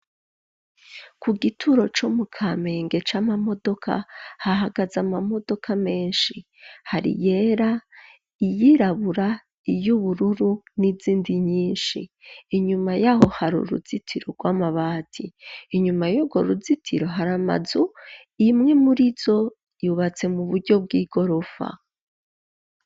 Ku gituro co mu Kamenge c'amamodoka hahagaze amamodoka menshi hari iyera, iyirabura, iy'ubururu n'izindi nyinshi. Inyuma y'aho hari uruzitiro rw'amabati, inyuma y'urwo ruzitiro hari amazu, imwe murizo yubatse mu buryo bw'igorofa.